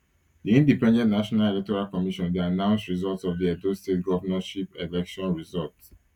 di independent national electoral commission dey announce results of di edo state governorship election result